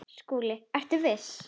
SKÚLI: Ertu viss?